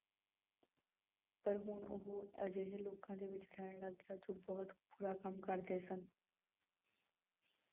ਪਰ ਹੁਣ ਉਹ ਅਜਿਹੇ ਲੋਕਾਂ ਦੇ ਵਿੱਚ ਰਹਿਣ ਲੱਗ ਗਿਆ ਜੋ ਬਹੁਤ ਬੁਰਾ ਕੰਮ ਕਰਦੇ ਸਨ।